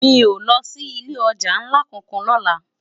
Mi ó lò si ilé òjá nlá kánkán lòlá